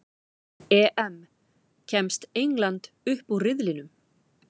EM: Kemst England upp úr riðlinum?